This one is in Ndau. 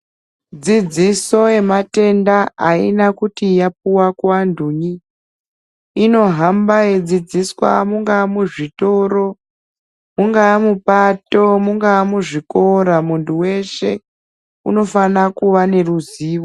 Dzidziso yematenda haina kuti yapuwa kuanhuyi inohamba yeidzidziswa mungaa muzvitoro, mungaa mupato mungaa muzvikora muntu weshe unofana kuva neruzivo.